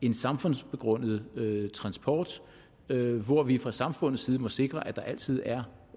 en samfundsbegrundet transport hvor vi fra samfundets side må sikre at der altid er